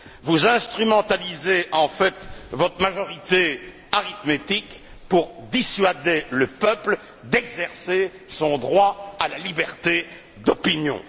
Vous instrumentalisez en fait votre majorité arithmétique pour dissuader le peuple d'exercer son droit à la liberté d'opinion.